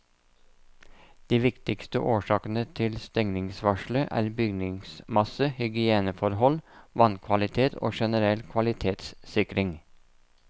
De viktigste årsakene til stengningsvarselet er bygningsmasse, hygieneforhold, vannkvalitet og generell kvalitetssikring.